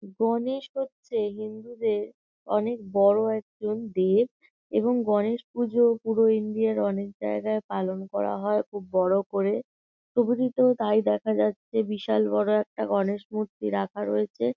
গণেশ হচ্ছে হিন্দুদের অনেক বড় একজন দেব । এবং গনেশপূজো পুরো ইন্ডিয়ার অনেক জায়গায় পালন করা হয় খুব বড় করে । ছবিটিতেও তাই দেখা যাচ্ছে বিশাল বড় একটা গণেশমূর্তি রাখা রয়েছে।